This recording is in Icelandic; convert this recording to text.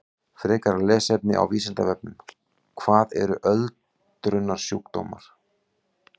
Frekara lesefni á Vísindavefnum: Hvað eru öldrunarsjúkdómar?